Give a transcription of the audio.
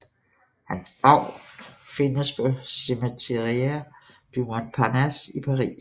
Hans grav findes på Cimetière du Montparnasse i Paris